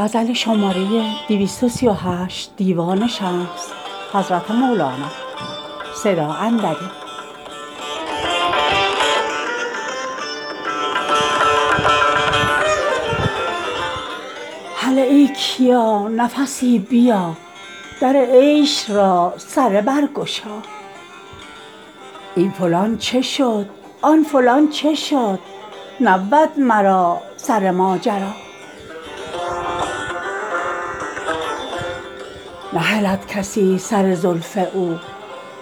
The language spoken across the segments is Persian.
هله ای کیا نفسی بیا در عیش را سره برگشا چه شد این فلان چه شد آن فلان نبود مرا سر ماجرا نهلد کسی سر زلف او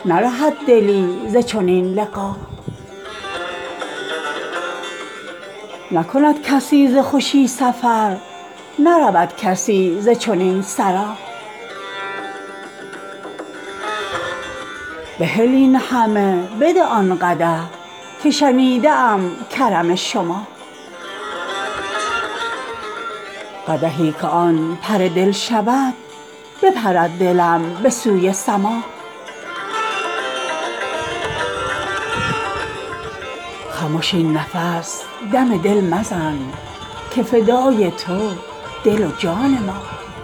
نرهد دلی ز چنین لقا نکند کسی ز خوشی سفر نرود کسی ز چنین سرا بهل این همه بده آن قدح که شنیده ام کرم شما قدحی که آن پر دل شود بپرد دلم به سوی سما خمش این نفس دم دل مزن که فدای تو دل و جان ما